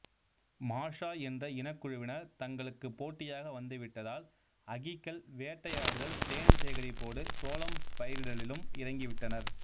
Maasai என்ற இனக்குழுவினர் தங்களுக்குப் போட்டியாக வந்து விட்டதால் அகிக்கள் வேட்டையாடுதல் தேன் சேகரிப்போடு சோளம் பயிரிடலிலும் இறங்கி விட்டனர்